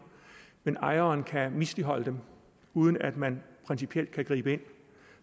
men ejeren kan misligholde dem uden at man principielt kan gribe ind